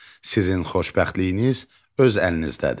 Sizin xoşbəxtliyiniz öz əlinizdədir.